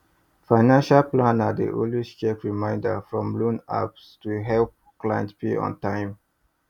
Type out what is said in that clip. financial planner dey always check reminder from loan apps to help client pay on time